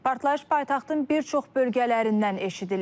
Partlayış paytaxtın bir çox bölgələrindən eşidilib.